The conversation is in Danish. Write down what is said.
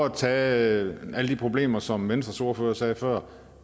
at tage alle de problemer som venstres ordfører sagde før